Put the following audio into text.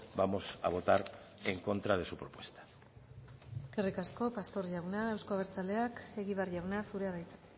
vamos a votar en contra de su propuesta eskerrik asko pastor jauna euzko abertzaleak egibar jauna zurea da hitza